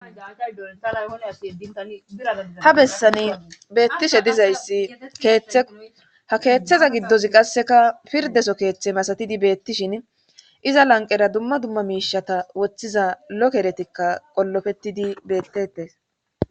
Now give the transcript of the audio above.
ha bessani beettishe dizayssi keeththe ha keeththeza giddozi qasseka pirdeso keeththe masatidi beettishin iza lanqera dumma dumma miishata woththiza lokeretikka qollofettidi bettetes